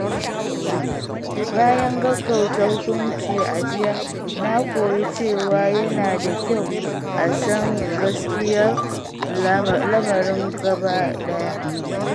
Bayan gaggauta hukunci a jiya, na koyi cewa yana da kyau a san gaskiyar lamarin gabaɗaya.